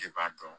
E b'a dɔn